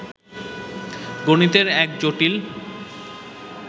গণিতের এক জটিল